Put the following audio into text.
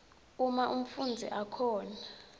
uma umfundzi akhona